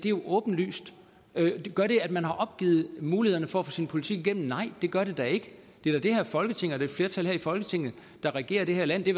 jo åbenlyst gør det at man har opgivet mulighederne for at få sin politik igennem nej det gør det da ikke det er da det her folketing et flertal her i folketinget der regerer det her land det